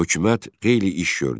Hökumət qeyri-iş gördü.